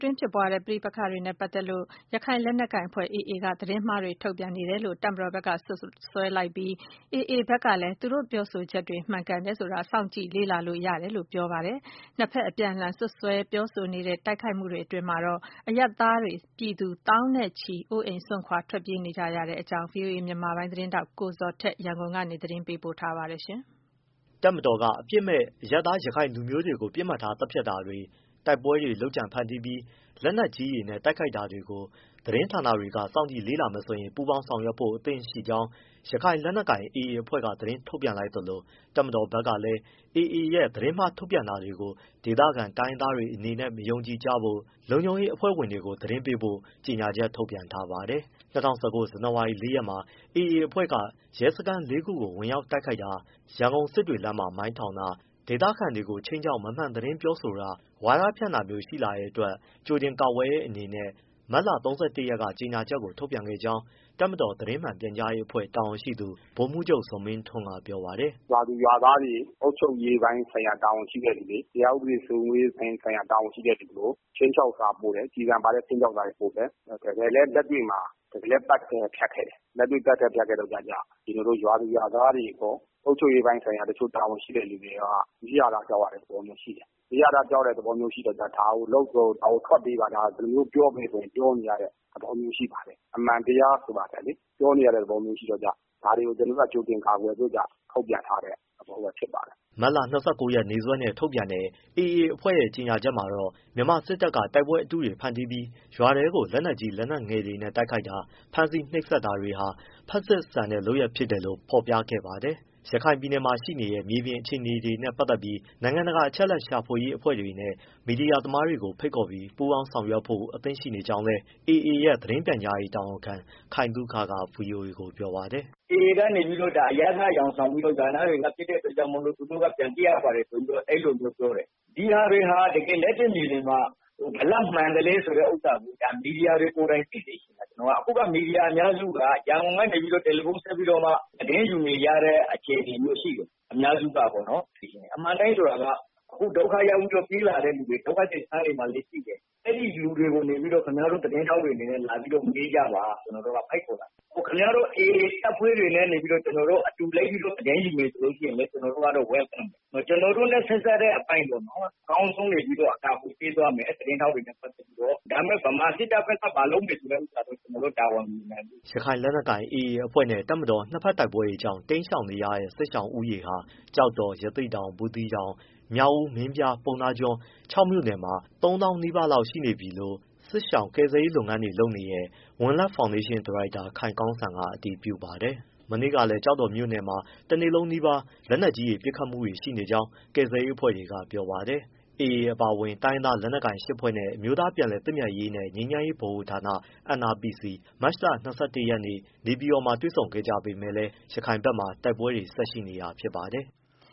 တွင်း ဖြစ်ပွားတဲ့ ပဋိပက္ခတွေနဲ့ပတ်သက်လို့ ရခိုင်လက်နက်ကိုင်အဖွဲ့ AA က သတင်းမှားတွေ ထုတ်ပြန်နေတယ်လို့ တပ်မတော်ဘက်က စွပ်စွဲလိုက်ပြီး AA ဘက်ကလည်း သူတို့ရဲ့ပြောဆိုချက်တွေ မှန်ကန်တယ်ဆိုတာ စောင့်ကြည့်လေ့လာလို့ ရတယ်လို့ ပြောဆိုလိုက်ပါတယ်။ နှစ်ဘက် အပြန်အလှန် စွပ်စွဲပြောဆိုနေတဲ့ တိုက်ခိုက်မှုတွေအတွင်းမှာတော့ အရပ်သားပြည်သူ သောင်းနဲ့ချီ အိုးအိမ်စွန့်ခွာ ထွက်ပြေးနေကြရပါတယ်။ ဒီအကြောင်း ဗွီအိုအေမြန်မာပိုင်း သတင်းထောက် ကိုဇော်ထက် ရန်ကုန်ကနေ ပေးပို့ ထားပါတယ်။ တပ်မတော်က အပြစ်မဲ့ အရပ်သား ရခိုင်လူမျိုးတွေကို ပစ်မှတ်ထားသတ်ဖြတ်တာတွေ၊ တိုက်ပွဲတုတွေ ဖန်တီးပြီး လက်နက်ကြီးတွေနဲ့ တိုက်ခိုက်တာတွေကို သတင်းဌာနတွေ စောင့်ကြည့်လေ့လာမယ်ဆိုရင် ပူပေါင်းဆောင်ရွက်ဖို့အသင့်ရှိကြောင်း ရခိုင်လက်နက်ကိုင် AA အဖွဲ့ကသတင်းထုတ်ပြန်လိုက်သလို၊ တပ်မတော်ဘက်ကလည်း AA ရဲ့ သတင်းမှားထုတ်ပြန်တာတွေကို ဒေသခံတိုင်းရင်းသားတွေအနေနဲ့ မယုံကြဖို့နဲ့ လုံခြုံရေးတပ်ဖွဲ့ဝင်တွေကို သတင်းပေးဖို့ ကြေညာချက်ထုတ်ပြန်ထားပါတယ်။ ၂၀၁၉ ဇန်နဝါရီ ၄ ရက်မှာ AA အဖွဲ့က ရဲစခန်းလေးခုကို ဝင်ရောက်တိုက်ခိုက်တာ၊ ရန်ကုန်-စစ်တွေလမ်းမှာ မိုင်းထောင်တာ၊ ဒေသခံတွေကို ခြိမ်းခြောက်မမှန်သတင်းပြောဆိုတာ၊ ဝါဒဖြန့်တာမျိုး ရှိလာတဲ့အတွက် ကြိုတင်ကာကွယ်တဲ့အနေနဲ့ မတ်လ၃၁ရက်က ကြေညာချက်ကို ထုတ်ပြန်ခဲ့ကြောင်း တပ်မတော် သတင်းမှန်ပြန်ကြားရေးအဖွဲ့ တာဝန်ရှိသူ ဗိုလ်မှူးချုပ် ဇော်မင်းထွန်းကပြောပါတယ်။ “ရွာသူရွာသားတွေ၊ အုပ်ချုပ်ရေးပိုင်းဆိုင်ရာ တာဝန်ရှိသူတွေ၊ တရားဥပဒေစိုးမိုးရေးပိုင်းဆိုင်ရာ တာဝန်ရှိတဲ့သူကို ခြိမ်းခြောက်စာပို့တယ် ကျည်ဆံပါတဲ့ ခြိမ်းခြောက်စာပို့တယ်။ တကယ်လည်းလက်တွေ့မှာ သတ်ခဲ့၊ ဖြတ်ခဲ့တယ်။ ရွာသူရွာသားတွေရော အုပ်ချုပ်ရေးပိုင်းဆိုင်ရာတာဝန်ရှိသူတွေရောက နီးရာဓား ကြောက်ရတဲ့သဘောမျိုးရှိတယ်။ နီးရာဓားကြောက်ရတဲ့သဘောမျိုးရှိတော့ ဒါကိုထွက်ပေးပါ၊ ဒါကိုပြောပေးပါဆိုရင် ပြောပေးရတဲ့ သဘောမျိုး ရှိပါတယ်။ အမှန်တရားဆိုတာထက် ပြောနေရတဲ့ သဘောမျိုးရှိတော့ ဒါတွေကို ကျနော်တို့က ကြိုတင်ကာကွယ်ဖို့ ထုတ်ပြန်ထားတဲ့ သဘောမျိုး ဖြစ်ပါ တယ်။” မတ်လ၂၉ ရက်နေ့စွဲနဲ့ ထုတ်ပြန်တဲ့ AA အဖွဲ့ရဲ့ ကြေညာချက်ထဲမှာတော့ မြန်မာစစ်တပ်က တိုက်ပွဲအတုတွေ ဖန်တီးပြီး ရွာတွေထဲကို လက်နက်ကြီး၊ လက်နက်ငယ်တွေနဲ့ တိုက်ခိုက်တာ၊ ဖမ်းဆီးနှိပ်စက်တာတွေဟာ ဖက်ဆစ်ဆန်တဲ့လုပ်ရပ် ဖြစ်တယ်လို့ ဖော်ပြခဲ့ပါတယ်။ ရခိုင်ပြည်နယ်မှာ ရှိနေတဲ့ မြေပြင်အခြေအနေတွေနဲ့ပတ်သတ်ပြီး နိုင်ငံတကာ အချက်အလက်ရှာဖွေရေးအဖွဲ့တွေနဲ့ မီဒီယာသမားတွေကို ဖိတ်ခေါ်ပြီး ပူးပေါင်းဆောင်ရွက်ဖို့ အသင့်ရှိနေကြောင်းလည်း AA ရဲ့ သတင်းပြန်ကြားရေး တာဝန်ခံ ခိုင်သုခက ဗွီအိုအေကို ပြောပါတယ်။ “AAကနေပြီတော့ ဒါကိုအရပ်သားအယောင်ဆောင်ပြီးတော့ ရွာသားတွေက ပစ်တဲ့အတွက်ကြောင့်မို့လို့ သူတို့က ပြန်ပစ်ရပါတယ်ဆိုပြီးတော့ အဲဒီလိုမျိုးပြောတယ် ဒီဟာတွေဟာ တကယ်လက်တွေ့မြေပြင်မှာ ဘယ်လောက်မှန်သလဲ ဥစ္စာကို မီဒီယာတွေကိုယ်တိုင်သိစေချင်တယ်။ မီဒီယာအများစုက ရန်ကုန်ကနေ တယ်လီဖုန်းဆက်ပြီးတော့ သတင်းယူနေကြရတဲ့ အခြေအနေမျိုးရှိတယ်။ အများစုကပေါ့နော်။ အမှန်အတိုင်းဆိုတာက အခုဒုက္ခရောက်ပြီးပြေးလာတဲ့သူတွေ ဒုက္ခသည်စခန်းတွေမှာလည်းရှိတယ် အဲဒီလူတွေကို ခင်ဗျားတို့သတင်း ထောက်တွေ လာပြီးမေးကြပါ ကျနော်တို့ကဖိတ်ခေါ်တာ။ ခင်ဗျားတို့ AAတပ်ဖွဲ့တွေနဲ့ အတူလိုက်ပြီးတော့ သတင်းယူမယ်ဆိုရင်လည်း ကျနော်တို့ကတော့ welcome ပဲ။ ကျနော်တို့နဲ့ဆက်စပ်တဲ့အပိုင်းပေါ့နော် အကောင်းဆုံးအကာအကွယ်ပေးသွားမယ် သတင်းထောက်တွေနဲ့ပတ်သတ်ပြီးတော့။ ဒါပေမဲ့ ဗမာစစ်တပ်ဘက်က ဘာလုပ်မယ်ဆိုတဲ့ဟာတော့ ကျနော်တို့တာဝန်မယူနိုင်ဘူး။” ရခိုင်လက်နက်ကိုင် AA အဖွဲ့နဲ့ တပ်မတော် နှစ်ဘက်တိုက်ပွဲတွေကြောင့် တိမ်းရှောင်နေရတဲ့ စစ်ရှောင်ဦးရေဟာ ကျောက်တော်၊ ရသေ့တောင်၊ ဘူးသီးတောင်၊ မြောက်ဦး၊ မင်းပြား ပုဏ္ဏားကျွန်း ခြောက်မြို့နယ်မှာ သုံးသောင်းနီးပါးရှိသွားပြီလို့ စစ်ရှောင် ကယ်ဆယ်ရေးလုပ်ငန်းတွေလုပ်နေတဲ့ ဝံလက် ဖောင်ဒေးရှင်း ဒါရိုက်တာ ခိုင်ကောင်းစံက အတည်ပြုပါတယ်။ မနေ့ကလည်း ကျောက်တော်မြို့နယ်မှာ တနေ့လုံးနီးပါး လက်နက်ကြီးပစ်ခတ်မှုတွေ ရှိနေကြောင်း ကယ်ဆယ်ရေးအဖွဲ့တွေကပြောပါတယ်။ AA အပါအဝင် တိုင်းရင်းသားလက်နက်ကိုင်၈ဖွဲ နဲ့အမျိုးသားပြန်လည်သင့်မြတ်ရေး နဲ့ ငြိမ်းချမ်းရေးဗဟိုဌာန NRPC မတ်လ၂၁ ရက်နေ့ နေပြည်တော်မှာ တွေ့ဆုံခဲ့ကြပေမဲ့လည်း ရခိုင်ဘက်မှာ တိုက်ပွဲတွေ ဆက်ရှိနေတာဖြစ်ပါတယ်။